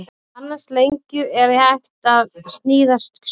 Af annars lengju er hægt að sníða skó.